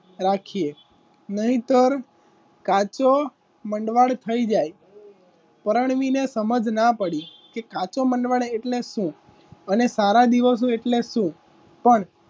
રાખીએ નહીંતર કાચો મંડવાડ થઈ જાય પરણવીને સમજ ના પડી કે કા તો મંડળ એટલે શું? અને તારા દિવસો એટલે શું કોણ?